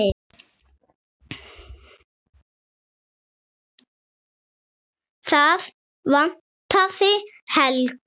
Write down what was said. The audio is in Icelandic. Það vantaði Helgu.